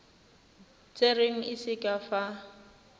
tserweng e se ka fa